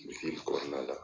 kɔnɔna la